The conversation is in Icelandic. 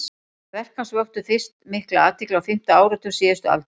verk hans vöktu fyrst mikla athygli á fimmta áratug síðustu aldar